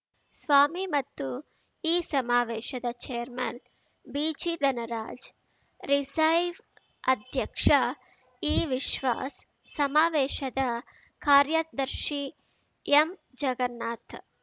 ಸ್ವಾಮಿ ಮತ್ತು ಈ ಸಮಾವೇಶದ ಛೇರ್‌ಮನ್‌ ಬಿಜಿಧನರಾಜ್‌ ರಿಸೈವ್ ಅಧ್ಯಕ್ಷ ಇವಿಶ್ವಾಸ್‌ ಸಮಾವೇಶದ ಕಾರ್ಯದರ್ಶಿ ಎಂಜಗನ್ನಾಥ್‌